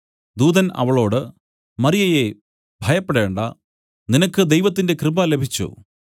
ദൂതൻ അവളോട് മറിയയേ ഭയപ്പെടേണ്ടാ നിനക്ക് ദൈവത്തിന്റെ കൃപ ലഭിച്ചു